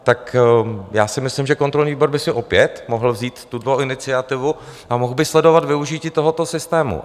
Tak já si myslím, že kontrolní výbor by si opět mohl vzít tuto iniciativu a mohl by sledovat využití tohoto systému.